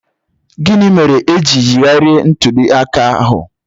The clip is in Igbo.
Gịnị mere e ji yigharịa ntuli aka ahụ?